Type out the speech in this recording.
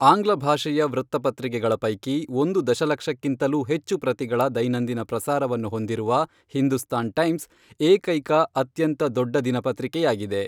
ಆಂಗ್ಲ ಭಾಷೆಯ ವೃತ್ತಪತ್ರಿಕೆಗಳ ಪೈಕಿ, ಒಂದು ದಶಲಕ್ಷಕ್ಕಿಂತಲೂ ಹೆಚ್ಚು ಪ್ರತಿಗಳ ದೈನಂದಿನ ಪ್ರಸಾರವನ್ನು ಹೊಂದಿರುವ ಹಿಂದೂಸ್ತಾನ್ ಟೈಮ್ಸ್, ಏಕೈಕ ಅತ್ಯಂತ ದೊಡ್ಡ ದಿನಪತ್ರಿಕೆಯಾಗಿದೆ.